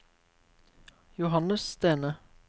Johannes Stene